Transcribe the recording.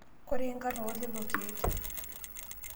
Koree nkarn oo lelo keek?